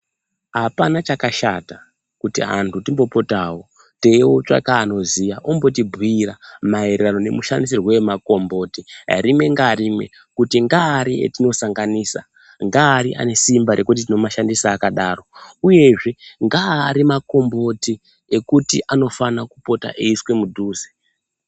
Apana chakashata kuti antu timbopotawo teitsvaka anoziya ombotibhuira maererano nemushandisirwo emakomboti rimwe ngarimwe kuti ngaaru etinosanganisa ngaari ane simba rekuti tinomashandisa akadaro uyezve ngaari makombiti ekuti anofana kupota eiiswe mudhuze.